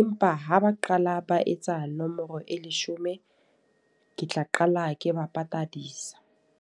Empa ha ba qala ba etsa nomoro e leshome, ke tla qala ke ba patadisa.